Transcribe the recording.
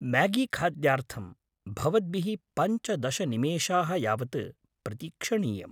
म्यागीखाद्यार्थं भवद्भिः पञ्चदश निमेषाः यावत् प्रतीक्षणीयम्।